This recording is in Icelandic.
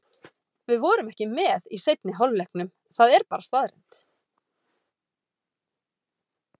Við vorum ekki með í seinni hálfleiknum, það er staðreynd.